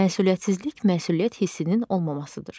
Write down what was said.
Məsuliyyətsizlik məsuliyyət hissinin olmamasıdır.